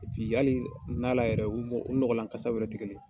Bi hali na la yɛrɛ, u nɔgɔlan kasaw yɛrɛ tigɛlen.